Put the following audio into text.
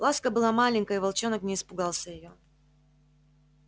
ласка была маленькая и волчонок не испугался её